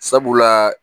Sabula